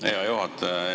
Hea juhataja!